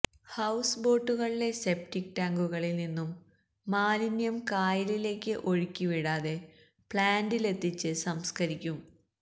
house ബോട്ടുകളിലെ septic ടാങ്കുകളിൽ നിന്നും മാലിന്യം കായലിലേക്ക് ഒഴുക്കി വിടാതെ പ്ലാൻറിലെത്തിച്ച് സംസ്കരിക്കും